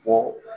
Fɔ